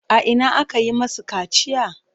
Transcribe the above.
A ina aka yi masu kaciya?